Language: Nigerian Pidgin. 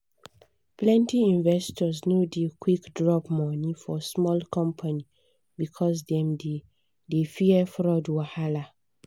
plenty investors no dey quick drop money for small company because dem dey dey fear fraud wahala.